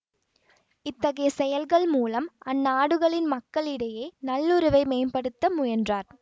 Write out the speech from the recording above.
இத்தகைய செயல்கள் மூலம் அந்நாடுகளின் மக்களிடையே நல்லுறவை மேம்படுத்த முயன்றார்